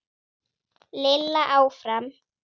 Lilla áfram.